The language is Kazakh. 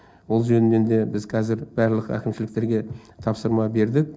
ол жөнінен де біз қазір барлық әкімшіліктерге тапсырма бердік